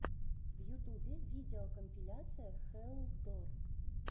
в ютюбе видеокомпиляция хэлл дор